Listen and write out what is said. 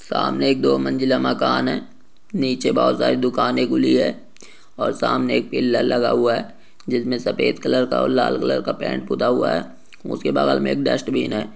सामने एक दो मंजिला मकान है नीचे बहुत सारी दुकाने खुली है और सामने एक पिलर लगा हुआ है जिसमे सफेद कलर का और लाल कलर का पैंट हुआ है उसके बगल मे डस्टबिन है।